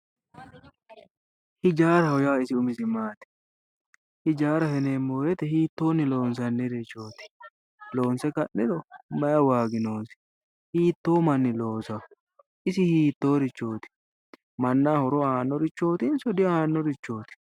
Hijaaraho yinneemmo woyte hiittonni loonsannirichoti, loonse ka'niro maayi waagi noosi, hiitto manni loosano, isi hiittorichoti, mannaho horo aanonso diaanorichoti.